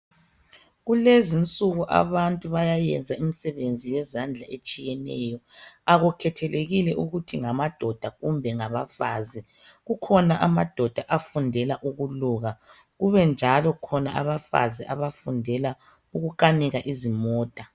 Kulezinsuku abantu bayayenza imisebenzi yezandla etshiyeneyo akukhethelekile ukuthi ngamadoda kumbe ngabafazi. Kukhona amadoda afundela ukuluka kube njalo abafazi abafundela ukukanika izimota.